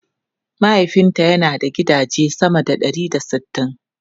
Mahaifinta yana da gidaje sama da ɗari da sittin.